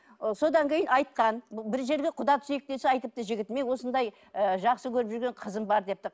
ы содан кейін айтқан бір жерге құда түсейік десе айтыпты жігіт мен осындай ы жақсы көріп жүрген қызым бар депті